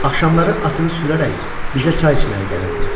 Axşamları atını sürərək bizə çay içməyə gəlirdi.